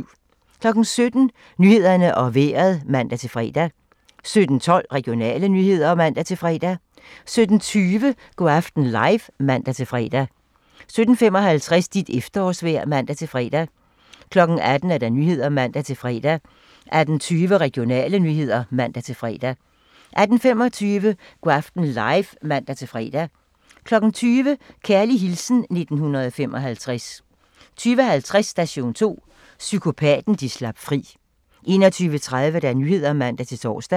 17:00: Nyhederne og Vejret (man-fre) 17:12: Regionale nyheder (man-fre) 17:20: Go' aften live (man-fre) 17:55: Dit efterårsvejr (man-fre) 18:00: Nyhederne (man-fre) 18:20: Regionale nyheder (man-fre) 18:25: Go' aften live (man-fre) 20:00: Kærlig hilsen 1955 20:50: Station 2: Psykopaten, de slap fri 21:30: Nyhederne (man-tor)